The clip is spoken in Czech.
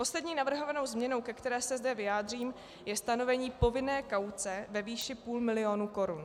Poslední navrhovanou změnou, ke které se zde vyjádřím, je stanovení povinné kauce ve výši půl milionu korun.